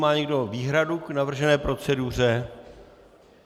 Má někdo výhradu k navržené proceduře?